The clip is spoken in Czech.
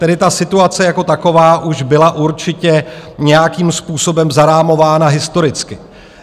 Tedy ta situace jako taková už byla určitě nějakým způsobem zarámována historicky.